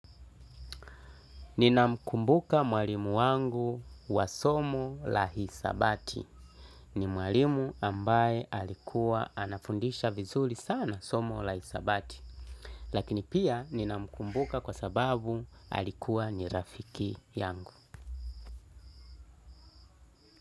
Ninamkumbuka mwalimu wangu wa somo la hisabati. Ni mwalimu ambaye alikuwa anafundisha vizuri sana somo la hisabati. Lakini pia ninamkumbuka kwa sababu alikuwa ni rafiki yangu.